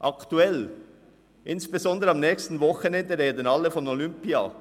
Aktuell, insbesondere am nächsten Wochenende, sprechen alle von Olympia.